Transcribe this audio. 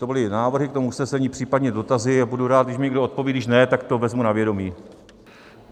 To byly návrhy k tomu usnesení, případně dotazy, a budu rád, když mi někdo odpoví, když ne, tak to vezmu na vědomí.